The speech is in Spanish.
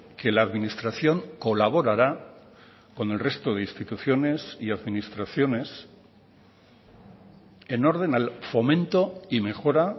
que la administración colaborará con el resto de instituciones y administraciones en orden al fomento y mejora